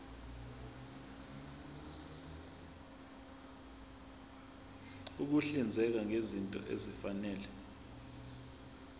ukuhlinzeka ngezinto ezifanele